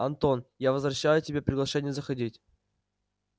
антон я возвращаю тебе приглашение заходить